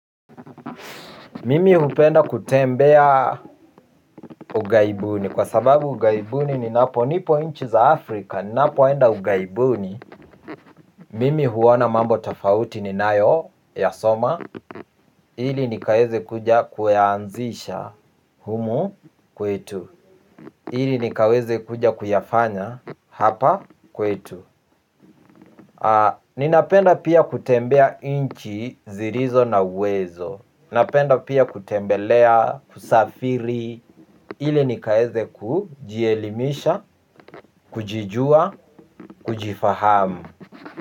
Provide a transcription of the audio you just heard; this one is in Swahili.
Mimi hupenda kutembea ughaibuni, kwa sababu ughaibuni ninapo nipo nchi za Afrika, napoenda ughaibuni, mimi huona mambo tofauti ninayoyasoma, ili nikaweze kuja kuyaanzisha humu kwetu, ili nikaweze kuja kuyafanya hapa kwetu. Ninapenda pia kutembea nchi zilizo na uwezo. Napenda pia kutembelea, kusafiri, ili nikaweze kujielimisha, kujijua, kujifahamu.